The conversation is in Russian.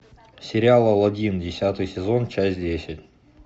сериал алладин десятый сезон часть десять